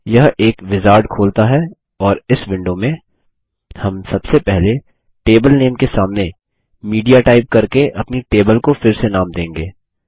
यह एक विजार्ड खोलता है और इस विंडो में हम सबसे पहले टेबल नामे के सामने मीडिया टाइप करके अपनी टेबल को फिर से नाम देंगे